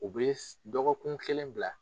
U bi dɔgɔkun kelen bila